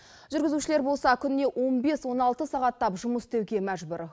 жүргізушілер болса күніне он бес он алты сағаттап жұмыс істеуге мәжбүр